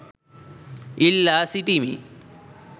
ඉල්ලා සිටිමි